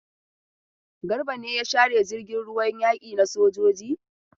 Garba ne ya share jirgin ruwan yaki na sojoji?